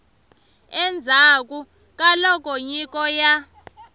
endzhaku ka loko nyiko ya